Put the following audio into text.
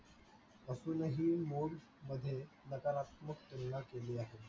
नकारात्मक तुलना केली आहे.